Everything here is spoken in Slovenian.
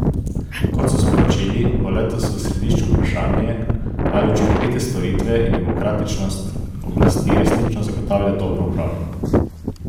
Kot so sporočili, bo letos v središču vprašanje, ali učinkovite storitve in demokratičnost oblasti resnično zagotavljajo dobro upravljanje.